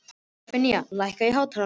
Stefanía, lækkaðu í hátalaranum.